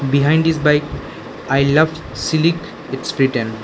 Behind this bike I love sillik its written.